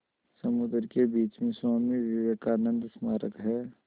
समुद्र के बीच में स्वामी विवेकानंद स्मारक है